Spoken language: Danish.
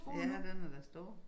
Ja den er da stor